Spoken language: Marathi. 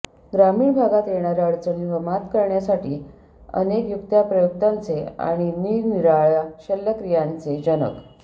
ग्रामीण भागात येणाऱ्या अडचणींवर मात करण्यासाठी अनेक युक्त्याप्रयुक्त्यांचे आणि निरनिराळ्या शल्यक्रियांचे जनक